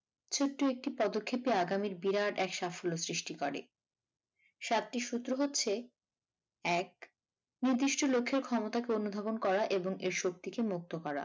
ছোট্ট একটি পদক্ষেপই আগামীর বিরাট এক সাফল্য সৃষ্টি করে সাতটি সূত্র হচ্ছে এক নির্দিষ্ট লক্ষ্যে ক্ষমতাকে অনুধাবন করা এবং এই শক্তিকে মুক্ত করা।